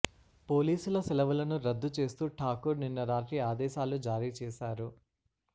పోలీసుల సెలవులను రద్దు చేస్తూ ఠాకూర్ నిన్న రాత్రి ఆదేశాలు జారీ చేశారు